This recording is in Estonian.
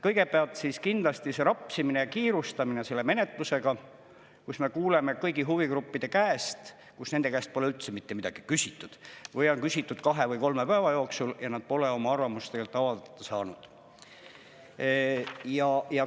Kõigepealt kindlasti see rapsimine ja kiirustamine selle menetlusega, kus me kuuleme kõigi huvigruppide käest, et nende käest pole üldse mitte midagi küsitud või on küsitud kahe või kolme päeva jooksul ja nad pole tegelikult oma arvamust avaldada saanud.